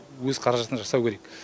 өз қаражатына жасау керек